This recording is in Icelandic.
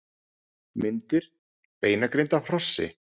Myndir: Beinagrind af hrossi.